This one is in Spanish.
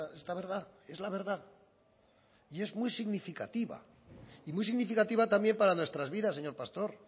esta verdad es la verdad y es muy significativa y muy significativa también para nuestras vidas señor pastor